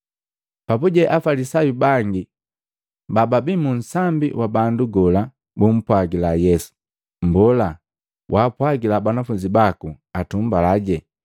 Papuje Afalisayu bangi bababi munsambi wa bandu gola bumpwagila Yesu, “Mbola, waapwagila banafunzi baku atumbalaje!”